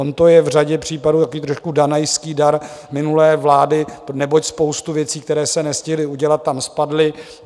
On to je v řadě případ takový trošku danajský dar minulé vlády, neboť spousta věcí, které se nestihly udělat, tam spadly.